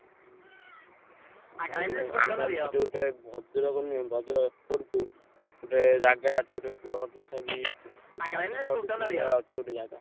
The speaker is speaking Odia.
ହୁଁ ହୁଁ ଆଉ ଆମର ସେଠି ଗୋଟେ ଭଦ୍ରକ ନୁହେଁ ଭଦ୍ରକ କୋଟପୁର ଗୋଟେ ଜାଗା ଅଛି ଗୋଟେ plot ତଥାପି ଉଁ ପାଞ୍ଚ ଛ ଡିସି ମିଲ୍ ଭଳିଆ ଅଛି ଗୋଟେ ଜାଗା।